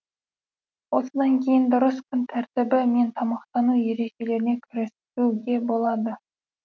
осыдан кейін дұрыс күн тәртібі мен тамақтану ережелеріне кірісуге болады